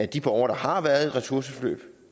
de borgere der har været i ressourceforløb